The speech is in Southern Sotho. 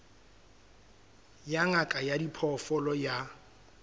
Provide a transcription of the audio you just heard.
ya ngaka ya diphoofolo ya